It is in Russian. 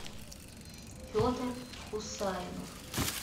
федор хусайнов